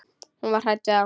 Hún var hrædd við þá.